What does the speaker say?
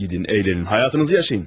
Gedin, əylənin, həyatınızı yaşayın.